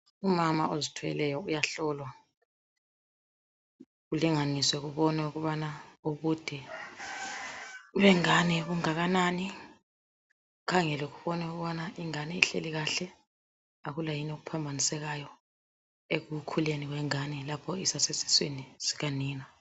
Umama ozithweleyo uyahlolwa, kulinganiswe kubonwe ukubana ubude bengane bungakanani, kukgangelwe kubonwe ukubana ingane ihleli kahle, akula yini okuphambanisekayo ekukhuleni kwengane lapho isasesiswini sikanina.